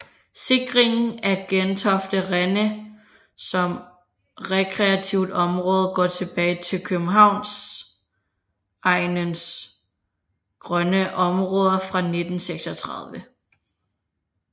Sikringen af Gentofte Rende som rekreativt område går tilbage til Københavnsegnens grønne Omraader fra 1936